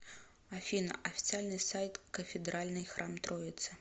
афина официальный сайт кафедральный храм троицы